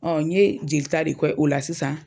Ɔ n ye jeli ta de kɛ o la sisan.